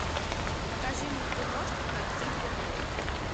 покажи киношку под силвер лэйк